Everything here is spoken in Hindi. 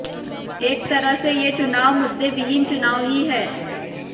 एक तरह से ये चुनाव मुद्दे विहीन चुनाव ही है